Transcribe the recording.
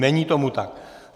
Není tomu tak.